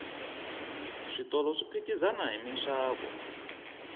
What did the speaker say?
switolo swi phikizana hi minxavo